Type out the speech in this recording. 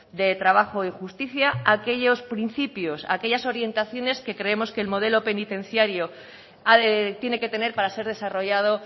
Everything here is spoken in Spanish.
de trabajo y justicia aquellos principios aquellas orientaciones que creemos que el modelo penitenciario tiene que tener para ser desarrollado